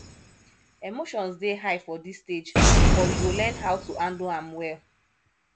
emotions dey high for this stage but we go learn how to handle am well